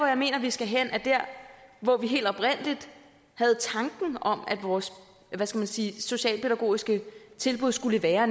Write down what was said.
jeg mener vi skal hen er der hvor vi helt oprindeligt havde tanken om at vores hvad skal man sige socialpædagogiske tilbud skulle være